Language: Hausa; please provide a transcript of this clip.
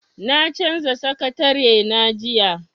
Na canza sakatarena jiya.